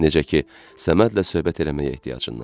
necə ki, Səmədlə söhbət eləməyə ehtiyacından,